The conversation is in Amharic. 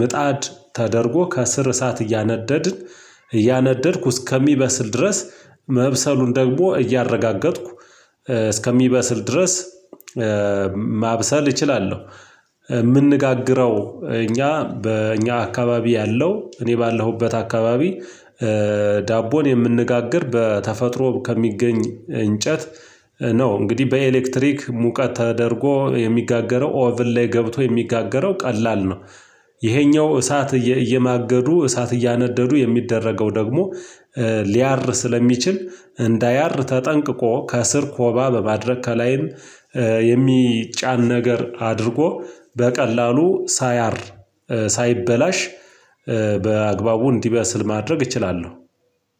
ምጣድ ተደርጎ ከስር እሳት እያነደድን እያነደድኩ እስከሚበስል ድረስ መብሰሉን ደግሞ እያረጋገጥኩ እስከሚበስል ድረስ ማብሰል እችላለው የምንጋግረው እኛ በእኛ አከባቢ ያለው እኔ ባለሁበት አካባቢ ዳቦን የምንጋግር በተፈጥሮ ከሚገኝ እንጨት ነው እንግዲህ በኤሌክትሪክ ሙቀት ተደርጎ የሚጋገረው ኦቭን ላይ ገብቶ የሚጋገረው ቀላል ነው። ይሄኛው እሳት እየማገዱ እሳት እያነደዱ የሚደረገው ደግሞ ሊያር ስለሚችል እንዳያር ተጠንቅቆ ከስር ኮባ በማድረግ ከላይም የሚጫን ነገር አድርጎ በቀላሉ ሳያር ሳይበላሽ በአግባቡ እንዲበስል ማድረግ እችላለው።